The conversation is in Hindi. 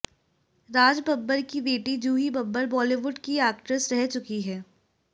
राज बब्बर की बेटी जूही बब्बर बॉलीवुड की एक्ट्रस रह चुकी हैं